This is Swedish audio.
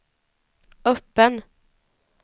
öppen